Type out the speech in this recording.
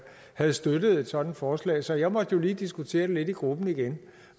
havde støttet et sådant forslag så jeg måtte jo lige diskutere det lidt i gruppen igen